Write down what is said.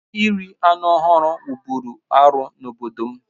Iri anụ ọhụrụ wụ́bụ́ru arụ n'obodo m